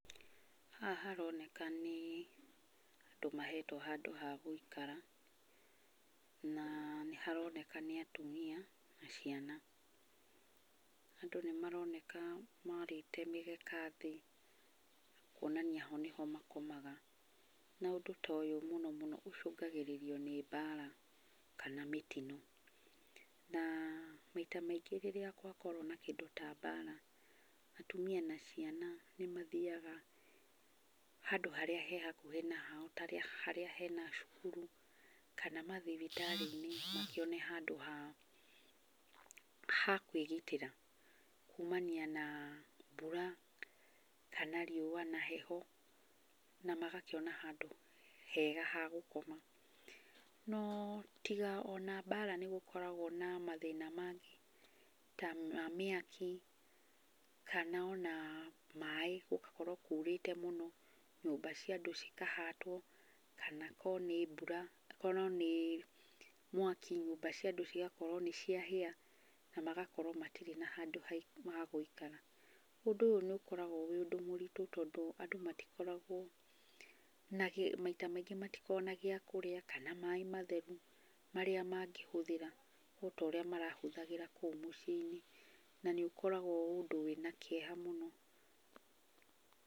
Haha haroneka nĩ andũ mahetwo handu ha gũikara. Na nĩharoneka nĩ atumia na ciana. Andũ nĩ maroneka maarĩte mĩgeka thĩ kũonania ho niho makomaga. Na ũndũ ta ũyũ mũno mũno ũcũngagĩrĩrio nĩ mbara kana mũtino. Na maita maingĩ rĩrĩa gwakorwo na kĩndũ ta mbara, atumia na ciana nĩmathiaga handũ harĩa he hakuhĩ na hao ta harĩa hena cukuru kana mathibitarĩinĩ makĩone handũ ha kwĩgitĩra kumania na mbura, rĩũa na heho. Na magakĩona handũ hega ha gũkoma. No tiga ona mbara, nigũkoragwo na mathúĩna mangĩ ta ma mĩaki kana ona maaĩ gũgakorwo kuurĩte mũno, nyũmba cia andũ cikahatwo, kana akorwo ni mwaki nyũmba cia andũ cigakorwo nĩ ciahĩa na magakorwo matirĩ na handũ ha gũikara. Ũndũ ũyũ nĩ ũkoragwo wĩ ũndũ mũritũ tondũ andũ matikoragwo na kĩndũ. Maita maingĩ matikoragwo na gĩakũrĩa kana maaĩ matheru marĩa mangĩhũthĩra ota ũrĩa marahuthagĩra kũu mũciĩinĩ, na nĩ ũkoragwo ũndũ wina kĩeha mũno.